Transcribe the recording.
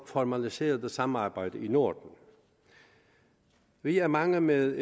formaliserede samarbejde i norden vi er mange med